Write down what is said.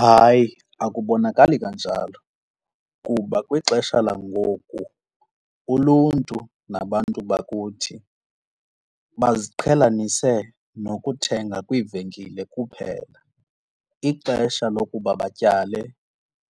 Hayi, akubonakali kanjalo kuba kwixesha langoku uluntu nabantu bakuthi baziqhelanise nokuthenga kwiivenkile kuphela. Ixesha lokuba batyale